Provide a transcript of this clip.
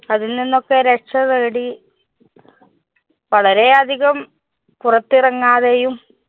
അതില്‍ നിന്നൊക്കെ രക്ഷ തേടി വളരെയധികം പുറത്തിറങ്ങാതെയും